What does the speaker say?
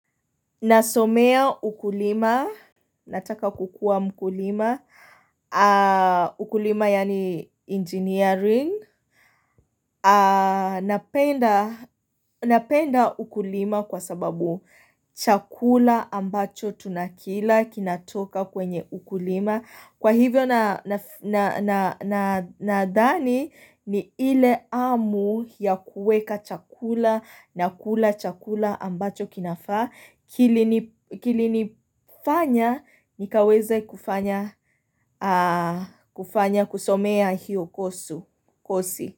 Nasomea ukulima, nataka kukua mkulima. Ukulima yani engineering. Napenda ukulima kwa sababu chakula ambacho tunakila kinatoka kwenye ukulima. Kwa hivyo na dani ni ile amu ya kuweka chakula na kula chakula ambacho kinafaa. Kili nifanya nikaweze kufanya kusomea hiyo kosi.